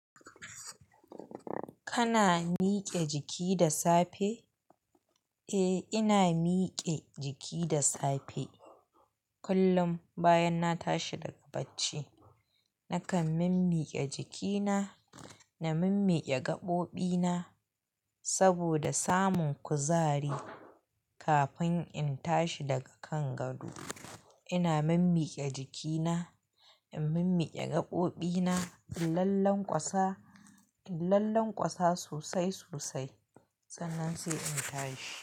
Kana miƙe jiki da safe? Eh, ina miƙe jiki da safe. Kullum bayan na tashi daga bacci, nakan mimmiƙe jikina, na mimmiƙe gaɓoɓina saboda samun kuzari. Kafin in tashi daga kan gado, ina mimmiƙe jikina, in mimmiƙe gaɓoɓina, in lallanƙwasa, in lallanƙwasa sosai sosai sannan sai in tashi.